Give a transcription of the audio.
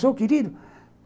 Sou querido?